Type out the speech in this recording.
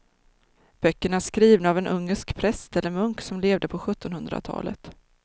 Böckerna är skrivna av en ungersk präst eller munk som levde på sjuttonhundratalet.